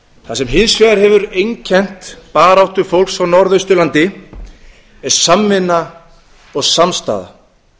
það sem hins vegar hefur einkennt baráttu fólks á norðausturlandi er samvinna og samstaða